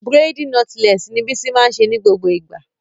Braidi notlesi ni Bísí máa ń ṣe ní gbogbo ìgbà.